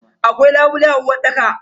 Akwai labule a uwarɗaka.